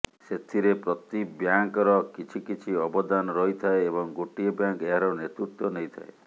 ସେଥିରେ ପ୍ରତି ବ୍ୟାଙ୍କର କିଛି କିଛି ଅବଦାନ ରହିଥାଏ ଏବଂ ଗୋଟିଏ ବ୍ୟାଙ୍କ ଏହାର ନେତୃତ୍ୱ ନେଇଥାଏ